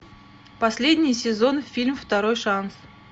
последний сезон фильм второй шанс